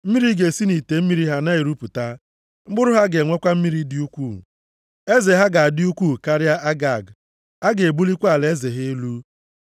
Mmiri ga-esi nʼite mmiri ha na-erupụta, mkpụrụ ha ga-enwekwa mmiri dị ukwuu. “Eze ha ga-adị ukwuu karịa Agag, a ga-ebulikwa alaeze ha elu.